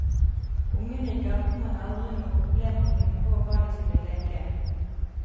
Ungene i gaten hadde aldri noe problem med å finne på hva de skulle leke.